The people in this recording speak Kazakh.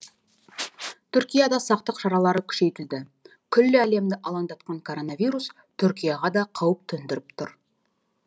түркияда сақтық шаралары күшейтілді күллі әлемді алаңдатқан коронавирус түркияға да қауіп төндіріп тұр